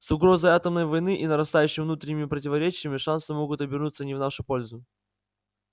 с угрозой атомной войны и нарастающими внутренними противоречиями шансы могут обернуться не в нашу пользу